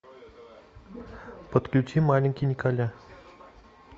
подключи маленький николя